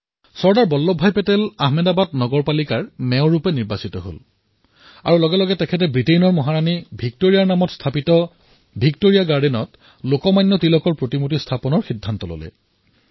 চৰ্দাৰ বল্লভ ভাই পেটেল আহমেদাবাদৰ নগৰ পালিকাৰ মেয়ৰ হিচাপে নিৰ্বাচিত হল আৰু তেওঁ ততালিকেই লোকমান্য তিলকৰ স্মাৰকৰ বাবে ভিক্টৰিয়া গাৰ্ডেন নিৰ্বাচিত কৰিলে আৰু এই ভিক্টৰিয়া গাৰ্ডেন ব্ৰিটেইনৰ মহাৰাণীৰ নামত আছিল